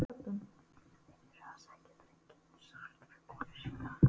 Þeir eru að sækja drenginn, sagði hann við konu sína.